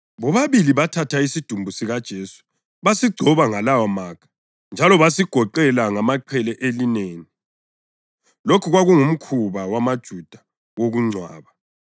Bobabili bathatha isidumbu sikaJesu basigcoba ngalawomakha njalo basigoqela ngamaqhele elineni. Lokhu kwakungumkhuba wamaJuda wokungcwaba.